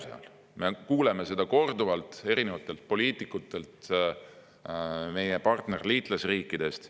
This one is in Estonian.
Me oleme kuulnud seda korduvalt erinevatelt poliitikutelt meie partner- ja liitlasriikidest.